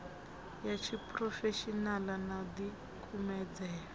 ya tshiphurofeshenaḽa na u ḓikumedzela